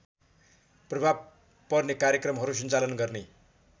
प्रभाव पर्ने कार्यक्रमहरू सञ्चालन गर्ने